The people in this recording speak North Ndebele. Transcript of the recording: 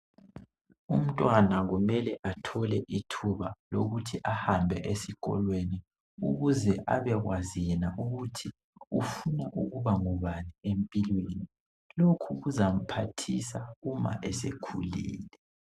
Umntwana kumele athole ithuba lokuthi ahambe esikolweni ukuze abekwazi yena ukuthi ufuna ukuba ngubani empilweni lokhu kuzamphathisa uma sekhulile.